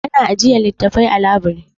Ana ajiyar littattafai a labiri.